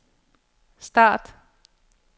start